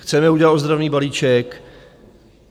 Chceme udělat ozdravný balíček.